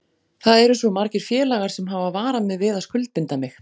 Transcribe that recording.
Það eru svo margir félagar sem hafa varað mig við að skuldbinda mig.